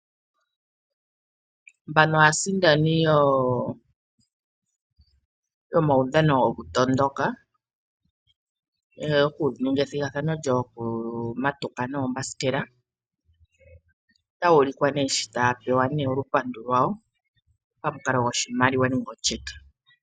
Mbano aasindani yomaudhano goku tondoka yoku ninga ethigathano lyoku matuka noombasikela, otayu ulikwa nee sho taya pewa olupandu lwayo pamukalo goshimaliwa nenge otyeke.